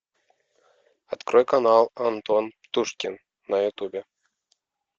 открой канал антон птушкин на ютубе